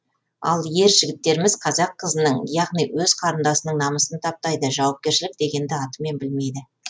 ал ер жігіттеріміз қазақ қызының яғни өз қарындасының намысын таптайды жауапкершілік дегенді атымен білмейді